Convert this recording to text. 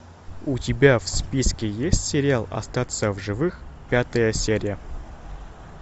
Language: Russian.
у тебя в списке есть сериал остаться в живых пятая серия